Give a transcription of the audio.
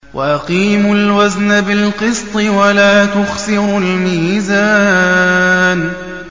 وَأَقِيمُوا الْوَزْنَ بِالْقِسْطِ وَلَا تُخْسِرُوا الْمِيزَانَ